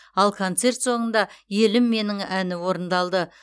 ал концерт соңында елім менің әні орындалды